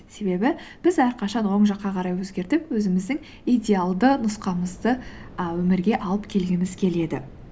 себебі біз әрқашан оң жаққа қарай өзгертіп өзіміздің идеалды нұсқамызды і өмірге алып келгіміз келеді